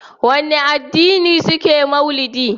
Wane addini ne suke mauludi?